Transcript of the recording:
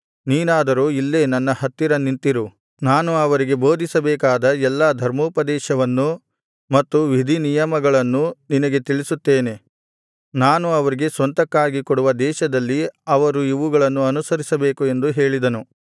ನೀನಾದರೋ ಇಲ್ಲೇ ನನ್ನ ಹತ್ತಿರ ನಿಂತಿರು ನಾನು ಅವರಿಗೆ ಬೋಧಿಸಬೇಕಾದ ಎಲ್ಲಾ ಧರ್ಮೋಪದೇಶವನ್ನು ಮತ್ತು ವಿಧಿನಿಯಮಗಳನ್ನೂ ನಿನಗೆ ತಿಳಿಸುತ್ತೇನೆ ನಾನು ಅವರಿಗೆ ಸ್ವಂತಕ್ಕಾಗಿ ಕೊಡುವ ದೇಶದಲ್ಲಿ ಅವರು ಇವುಗಳನ್ನು ಅನುಸರಿಸಬೇಕು ಎಂದು ಹೇಳಿದನು